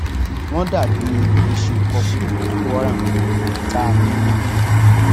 wọn dà bíi eéṣín ó kọkú boko haram tá a ní níbí